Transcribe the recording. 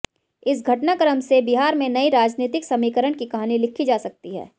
इस घटनाक्रम से बिहार में नए राजनीतिक समीकरण की कहानी लिखी जा सकती है